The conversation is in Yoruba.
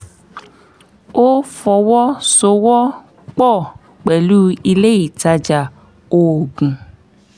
ó fọwọ́ sowọ́ pọ̀ pẹ̀lú ilé ìtajà oògùn